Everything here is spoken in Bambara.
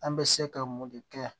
An bɛ se ka mun de kɛ